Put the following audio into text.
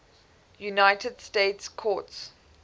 united states courts